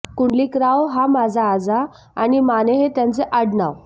कुंडलिकराव हा माझा आजा आणि माने हे त्याचं आडनाव